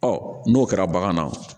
Ɔ n'o kɛra bagan na